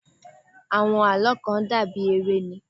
Àwọn àlọ́́ kàn dà bí eré ni.